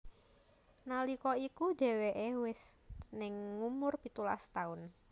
Nalika iku dheweké wis ning ngumur pitulas taun